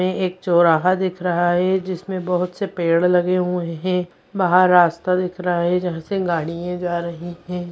ये एक चोराहा दिख रहा है जिसमें बहुत से पेड़ लगे हुए हैं बाहर रास्ता दिख रहा है जहाँ से गाड़ियाँ जा रही हैं।